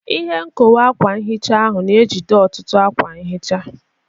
Ihe nkowe akwa nhicha ahụ na-ejide ọtụtụ akwa nhicha.